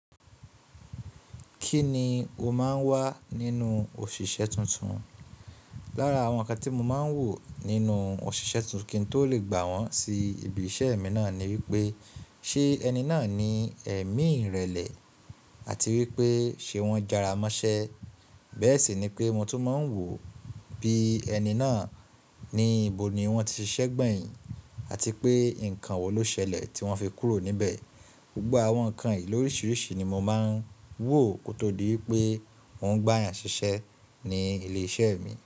Kí ni ó máa ń wá nínú òṣìṣẹ́ tuntun? Lára àwọn ǹkan tí mo máa ń wò nínú òṣìṣẹ́ tuntun kí n tó lè gbà wọ́n sí ibi iṣẹ́ mi náà ni wípé ṣé ẹni náà ní ẹ̀mí ìrẹ̀lẹ̀ àti wípé ṣé wọ́n jára mọ́ṣẹ́. Bẹ́ẹ̀ sì ni pé mo tún máa ń wò bí ẹni náà ní ibo ni wọ́n ti ṣiṣẹ́ gbẹ̀yìn àti pé ǹkan wo ló ṣẹlẹ̀ tí wọ́n fi kúrò níbẹ̀. Gbogbo àwọn ǹkan yìí lóríṣiríṣi ni mo máa ń wò kó tó di wípé mò ń gbà eyàn ṣiṣẹ́ ní ilé iṣẹ́ mi.